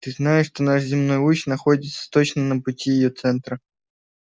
ты знаешь что наш земной луч находится точно на пути её центра